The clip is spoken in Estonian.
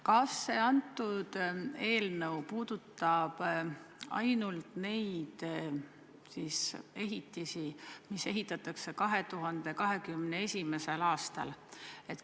Kas see eelnõu puudutab ainult neid ehitisi, mis ehitatakse 2021. aastal?